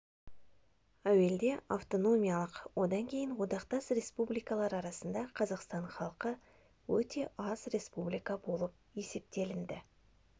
әуелде автономиялық одан кейін одақтас республикалар арасында қазақстан халқы өте аз республика болып есептелінді